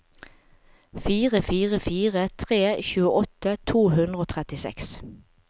fire fire fire tre tjueåtte to hundre og trettiseks